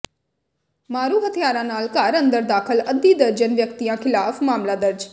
ਮਾਰੂ ਹਥਿਆਰਾਂ ਨਾਲ ਘਰ ਅੰਦਰ ਦਾਖ਼ਲ ਅੱਧੀ ਦਰਜਨ ਵਿਅਕਤੀਆਂ ਿਖ਼ਲਾਫ਼ ਮਾਮਲਾ ਦਰਜ